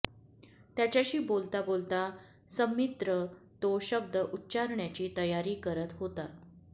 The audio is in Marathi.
त्याच्याशी बोलता बोलता सन्मित्र तो शब्द उच्चारण्याची तयारी करत होता